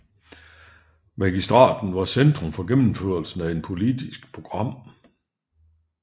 Magistraten var centrum for gennemførelsen af et politisk program